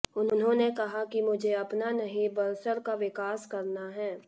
उन्होंने कहा कि मुझे अपना नहीं बड़सर का विकास करना है